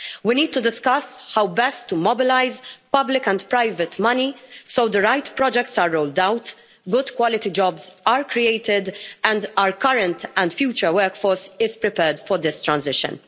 We need to discuss how best to mobilise public and private money so the right products are rolled out, good quality jobs are created, and our current and future workforce is prepared for this transition.